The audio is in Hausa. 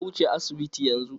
Ka wuce asibitin yanzu!